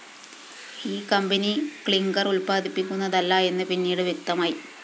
ഈ company clinker‍ ഉത്പാദിപ്പിക്കുന്നതല്ല എന്ന് പിന്നീട് വ്യക്തമായി